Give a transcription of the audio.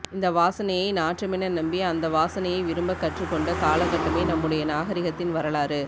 இந்த வாசனையை நாற்றமென நம்பி அந்த வாசனையை விரும்பக் கற்றுக்கொண்ட காலககட்டமே நம்முடைய நாகரீகத்தின் வரலாறு